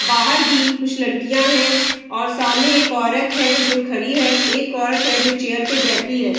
बाहर भी कुछ लड़कियाँ हैं और सामने एक औरत है जो खड़ी है एक औरत है जो चेयर पे बैठी है।